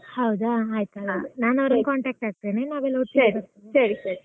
ಹೌದಾ ಆಯ್ತ್ ಹಾಗಾದ್ರೆ ಅವರನ್ನಾ contact ಆಗ್ತೇನೆ, ನಾವೆಲ್ಲ ಒಟ್ಟಿಗೆ .